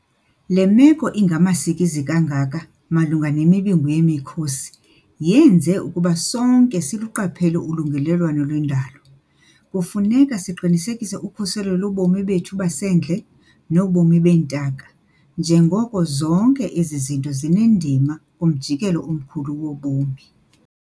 Le meko ingamasikizi kangaka malunga nemibungu yemiKhosi yenze ukuba sonke siluqaphele ulungelelwano lwendalo. Kufuneka siqinisekise ukhuselo lobomi bethu basendle nobomi beentaka njengoko zonke ezo zinto zinendima kumjikelo omkhulu wobomi.